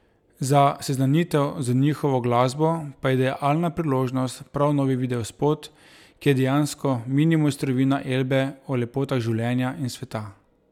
Za seznanitev z njihovo glasbo pa je idealna priložnost prav novi videospot, ki je dejansko mini mojstrovina Elbe o lepotah življenja in sveta.